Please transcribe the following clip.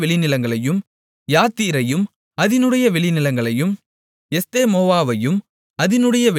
யாத்தீரையும் அதினுடைய வெளிநிலங்களையும் எஸ்தெமொவாவையும் அதினுடைய வெளிநிலங்களையும்